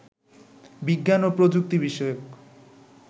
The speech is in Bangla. বিজ্ঞান ও প্রযুক্তি বিষয়ক